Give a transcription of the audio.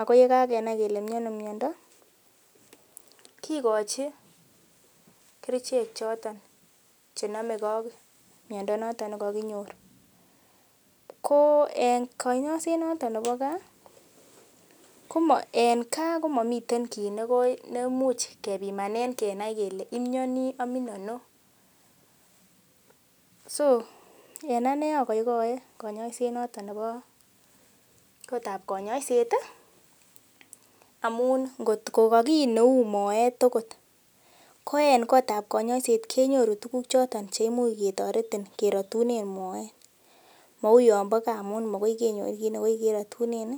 ako yekakenai kele miono miondo kikochi kerichek choton chenomegee ak miondo noton nekokinyor ko en konyoiset noton nebo gaa komo en gaa komomiten kiy nemuch kipamanen kenai kele imionii omin ano so en anee agoigoe konyoiset noton nebo kotab konyoiset amun ngotko ko kiy neuu moeet okot ko en kotab konyoiset kenyoru tuguk choton cheimuch ketoretin kerotunen moet mou yon bo gaa amun makoi kenyor kiy nekirotunen